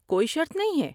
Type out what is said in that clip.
کوئی شرط نہیں ہے۔